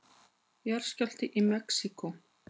Jarðskjálfti í Mexíkó